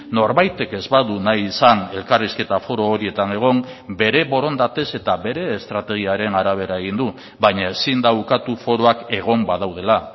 norbaitek ez badu nahi izan elkarrizketa foro horietan egon bere borondatez eta bere estrategiaren arabera egin du baina ezin da ukatu foroak egon badaudela